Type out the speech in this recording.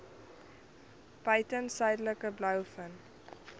buiten suidelike blouvin